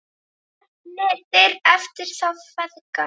HEFNDIR EFTIR ÞÁ FEÐGA